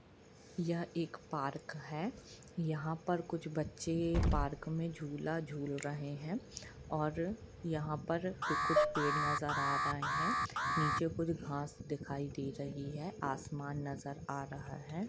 यहाँ एक पार्क है यहाँ कुछ बच्चे पार्क मे झूला-झूल रहे है और यहाँ पर कुछ पेड़ नज़र आ रहे है नीचे कुछ घास दिखाई दे रही है आसमान नजर आ रहा है।